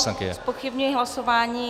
Zpochybňuji hlasování.